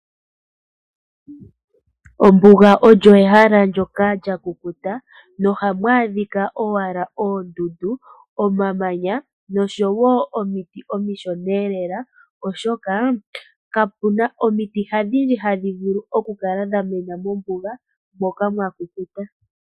Ombuga olyo ehala lyoka lya ku kuta nohamu adhika owala oondundu, omamanya noshowo omiti omishona elela oshoka kapuna omiti hadhi ohadhi vulu oku kala dhamena mombuga moka mwa kukuta .